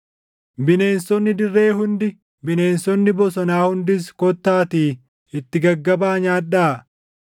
Bineensonni dirree hundi, bineensonni bosonaa hundis kottaatii itti gaggabaa nyaadhaa!